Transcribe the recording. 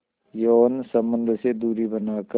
यौन संबंध से दूरी बनाकर